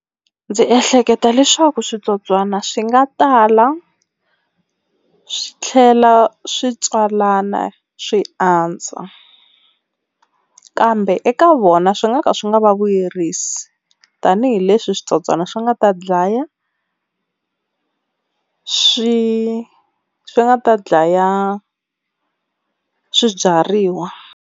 Ndzi ehleketa leswaku switsotswana swi nga tala swi tlhela swi tswalana swi andza, kambe eka vona swi nga ka swi nga va vuyerisi tanihileswi switsotswana swi nga ta dlaya swi swi nga ta dlaya swibyariwa.